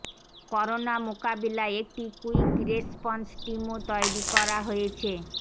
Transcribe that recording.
corona মোকাবিলায় একটি quick response টিমও তৈরি করা হয়েছে